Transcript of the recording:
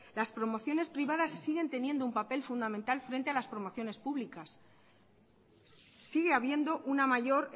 las promociones privadas tienen teniendo un papel fundamental frente a las promociones públicas sigue habiendo una mayor